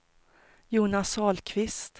Jonas Ahlqvist